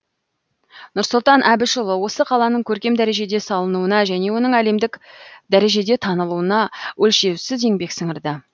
нұрсұлтан әбішұлы осы қаланың көркем дәрежеде салынуына және оның әлемдік дәрежеде танылуына өлшеусіз еңбек сіңірді